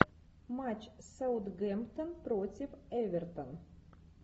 матч саутгемптон против эвертон